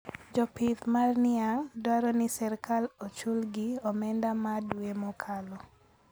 Jopith mar niang` dwaro ni sirkal ochul gi omenda ma dwe mokalo